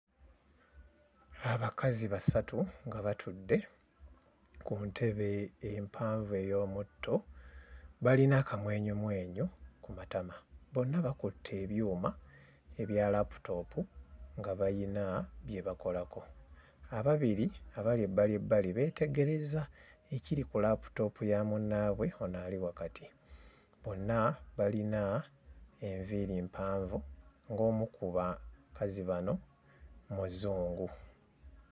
Abakazi basatu nga batudde ku ntebe empanvu ey'omutto, balina akamwenyumwenyu ku matama, bonna bakutte ebyuma ebya laputoopu nga bayina bye bakolako, ababiri abali ebbali ebbali beetegereza ekiri ku laputoopu ya munnaabwe ono ali wakati, bonna balina enviiri empanvu ng'omu ku bakazi bano muzungu.